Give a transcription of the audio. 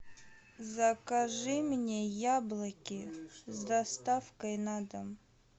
закажи мне яблоки с доставкой на дом